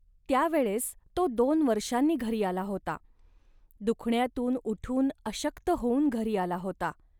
त्या वेळेस तो दोन वर्षांनी घरी आला होता. दुखण्यातून उठून अशक्त होऊन घरी आला होता